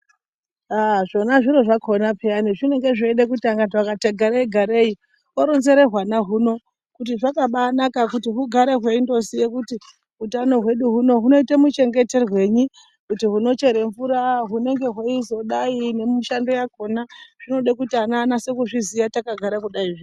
Haa zvona zviro zvakona pheyani zvinenge zveide kuti antu akati garei-garei oronzere hwana huno kuti zvakabanaka kuti hugare hweindoziye kuti hutano hwedu hunoite muchengeterwenyi. Kuti hunochere mvura, hunenge hweizodai nemishando yakona, zvinode kuti ana anase kuzviziya takagare kudaizvi.